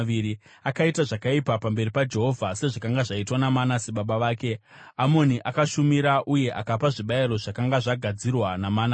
Akaita zvakaipa pamberi paJehovha, sezvakanga zvaitwa naManase baba vake. Amoni akashumira uye akapa zvibayiro zvakanga zvagadzirwa naManase.